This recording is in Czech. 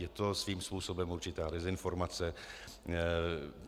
Je to svým způsobem určitá dezinformace.